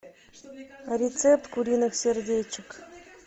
рецепт куриных сердечек